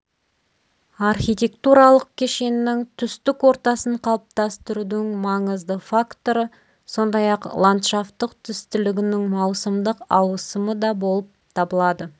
архитектуралық кешеннің түстік ортасын қалыптастырудың маңызды факторы сондай-ақ ладшафттық түстілігінің маусымдық ауысымы да болып табылады